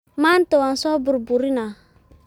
Maanta waaan so burburinaa